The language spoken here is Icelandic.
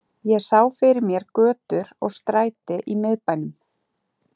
Ég sá fyrir mér götur og stræti í miðbænum